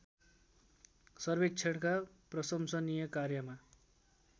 सर्वेक्षणका प्रशंसनीय कार्यमा